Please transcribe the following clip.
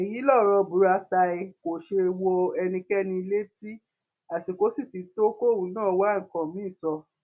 èyí lọrọ buratai kò ṣe wọ ẹnikẹni létí àsìkò sì ti tó kóun náà wá nǹkan mìín sọ